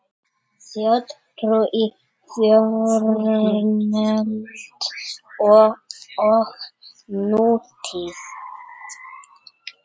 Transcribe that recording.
Þjóðtrú í fornöld og nútíð